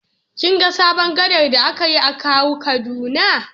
Kin ga sabon gada da aka yi a Kawo Kaduna?